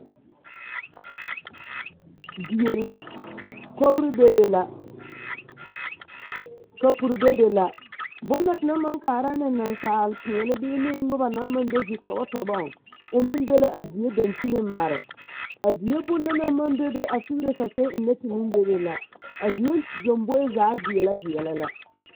Die la, kogiri bebe la, kapuri bebe la, bone na tenaŋ maŋ kaara ne nasapeɛne bee noba naŋ maŋ be zitɔbɔ tɔbɔŋ, o meŋ be la a die dankyiniŋ mare, a die bone na naŋ maŋ bebe a figire saseɛ ennɛ te meŋ bebe la, a die lomboe zaa veɛlɛ la.